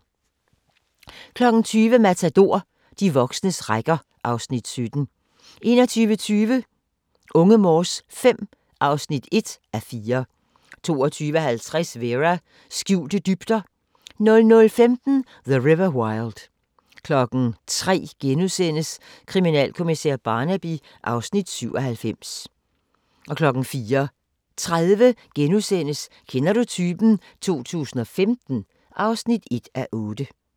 20:00: Matador - de voksnes rækker (Afs. 17) 21:20: Unge Morse V (1:4) 22:50: Vera: Skjulte dybder 00:15: The River Wild 03:00: Kriminalkommissær Barnaby (Afs. 97)* 04:30: Kender du typen? 2015 (1:8)*